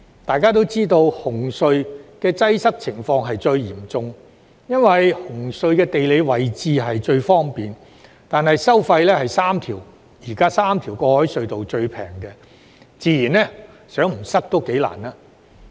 大家知道紅隧的擠塞情況最嚴重，因為紅隧的地理位置最方便，但收費卻是現時3條過海隧道中最便宜，擠塞自然在所難免。